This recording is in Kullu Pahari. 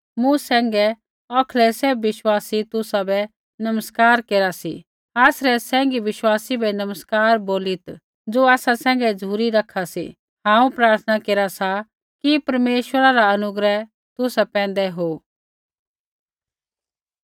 मूँ सैंघै औखलै सैभ विश्वासी तुसाबै नमस्कार केरा सी आसरै सैंघी विश्वासी बै नमस्कार बोलीत् ज़ो आसा सैघै झ़ुरी रखा सी हांऊँ प्रार्थना केरा सा कि परमेश्वरा रा अनुग्रह तुसा पैंधै हो